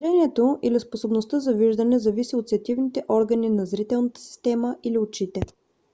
зрението или способността за виждане зависи от сетивните органи на зрителната система или очите